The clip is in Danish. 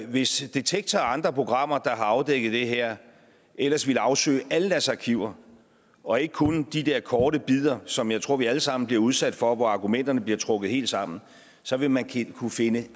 hvis detektor og andre programmer der har afdækket det her ellers ville afsøge alle deres arkiver og ikke kun de der korte bidder som jeg tror vi alle sammen bliver udsat for altså hvor argumenterne bliver trukket helt sammen så vil man kunne finde